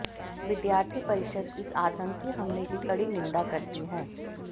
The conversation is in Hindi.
विद्यार्थी परिषद इस आतंकी हमले की कड़ी निंदा करती है